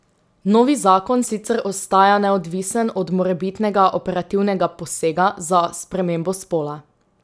Novi zakon sicer ostaja neodvisen od morebitnega operativnega posega za spremembo spola.